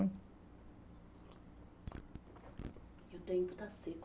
Hum, e o tempo está seco